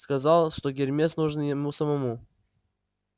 сказал что гермес нужен ему самому